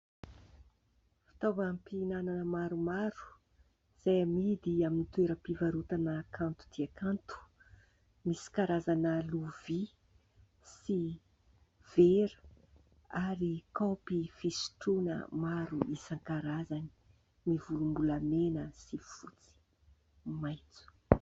Fitaovam- pihinanana maromaro izay amidy amin'ny toeram-pivarotana kanto tia kanto, misy karazana lovia sy vera ary kaopy fisotroana maro isan-karazany : mivolombolamena sy fotsy, maitso.